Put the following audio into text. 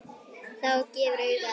Það gefur auga leið